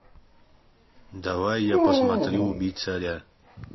давай я посмотрю убить царя